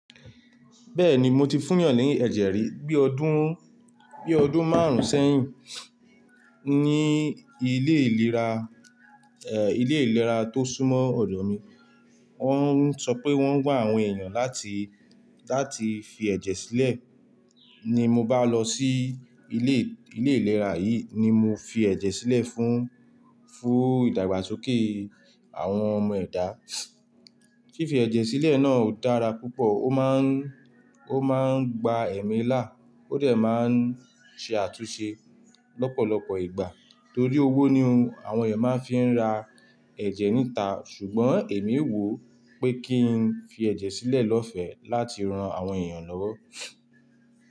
Bẹ́ẹ̀ni mo ti fúyàn ní ẹ̀jẹ̀ rí, bí ọdún, bí ọdún márùn-ún sẹ́yìn ní ilé ìlera, eh, ilé ìlera tó súnmọ́ ọ̀dọ̀ mi. Wọ́n ń sọ pé wọ́n ń gba àwọn èèyàn láti, láti fi ẹ̀jẹ̀ sílẹ̀. Ní mo bá lọ sí ilé, ilé ìlera yìí ni mo fi ẹ̀jẹ̀ sílẹ̀ fún, fún ìdàgbàsókè àwọn ọmọ ẹ̀dá. Fífi ẹ̀jẹ̀ sílẹ̀ náà ò dára púpọ̀, ó máa ń, ó máa ń gba ẹ̀mí là, ó dè máa ń ṣe àtúnṣe lọ́pọ̀lọpọ̀ ìgbà torí owó ni àwọn èèyàn máa ń fi ra ẹ̀jẹ̀ níta. Ṣùgbọ́n èmi wò pé kí n fi ẹ̀jẹ̀ sílẹ̀ lọ́fẹ̀ẹ́ láti ran àwọn èèyàn lọ́wọ́.